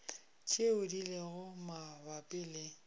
tšeo di lego mabapi le